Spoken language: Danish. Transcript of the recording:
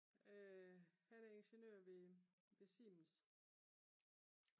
han er ingeniør ved ved Siemens